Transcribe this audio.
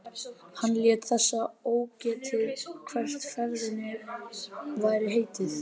Hann lét þess ógetið hvert ferðinni væri heitið.